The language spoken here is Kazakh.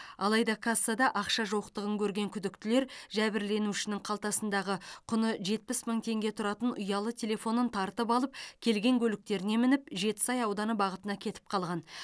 алайда кассада ақша жоқтығын көрген күдіктілер жәбірленушінің қалтасындағы құны жетпіс мың теңге тұратын ұялы телефонын тартып алып келген көліктеріне мініп жетісай ауданы бағытына кетіп қалған